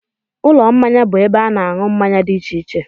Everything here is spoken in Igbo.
Ụlọ mmanya bụ ebe a na-aṅụ mmanya dị iche iche